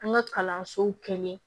An ka kalansow kɛlen